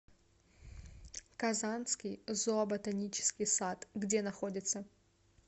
казанский зооботанический сад где находится